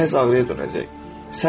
Beləcə həzz ağrıya dönəcək.